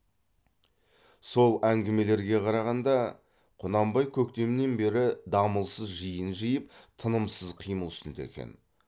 сол әңгімелерге қарағанда құнанбай көктемнен бері дамылсыз жиын жиып тынымсыз қимыл үстінде екен